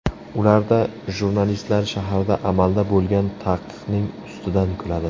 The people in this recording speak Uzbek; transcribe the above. Ularda jurnalistlar shaharda amalda bo‘lgan taqiqning ustidan kuladi.